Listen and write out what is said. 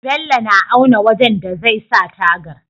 Bello na auna wajan da zai sa tagar